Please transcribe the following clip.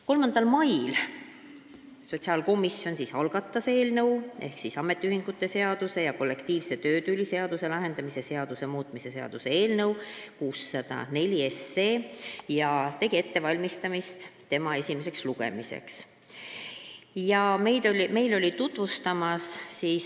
3. mail algatas sotsiaalkomisjon eelnõu ehk ametiühingute seaduse ja kollektiivse töötüli lahendamise seaduse muutmise seaduse eelnõu 604 ja tegi ettevalmistusi selle esimeseks lugemiseks.